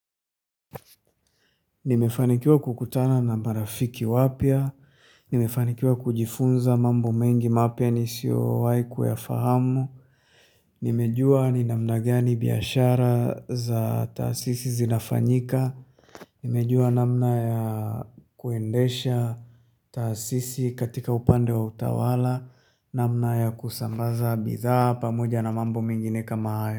Nimefanikiwa kukutana na marafiki wapya, nimefanikiwa kujifunza mambo mengi mapya nisiowahi kuya fahamu, nimejua ni namna gani biashara za taasisi zinafanyika, nimejua namna ya kuendesha taasisi katika upande wa utawala, namna ya kusambaza bidhaa pamoja na mambo mengine kama hayo.